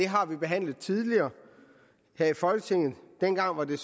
har vi behandlet tidligere her i folketinget dengang var det